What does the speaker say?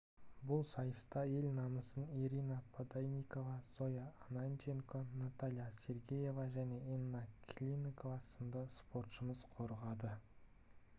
бұл сайыста ел намысын ирина подойникова зоя ананченко наталья сергеева және инна клинова сынды спортшымыз қорғады